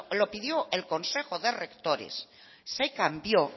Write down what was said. lo pidió el consejo de rectores se cambió